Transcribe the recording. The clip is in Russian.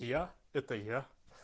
я это я